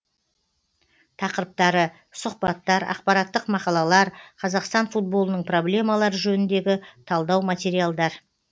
тақырыптары сұхбаттар ақпараттық мақалалар қазақстан футболының проблемалары жөніндегі талдау материалдар